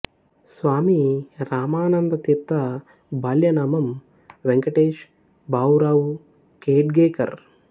స్వామి రామానంద తీర్థ బాల్యనామం వెంకటేష్ భావు రావు ఖెడ్గేకర్